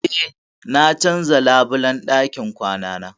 Eh, na canza labulan ɗakin kwanana.